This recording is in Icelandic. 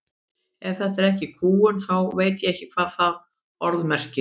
Ef þetta er ekki kúgun þá veit ég ekki hvað það orð merkir.